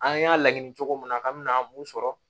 An y'a laɲini cogo min na ka mina mun sɔrɔ